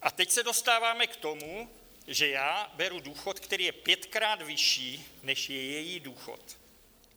A teď se dostáváme k tomu, že já beru důchod, který je pětkrát vyšší, než je její důchod.